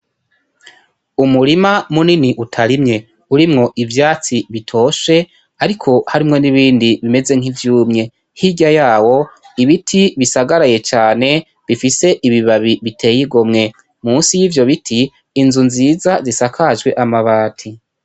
Unurima munini utarimye urimwo ivyatsi bitoshe ariko harimwo n’ibindi bimeze nk’ivyumye. Hirya yawo ibiti bisagaraye cane bifise ibibabi biteyigomwe. Musi yivyo biti, Inzu nziza zisakajwe amabati.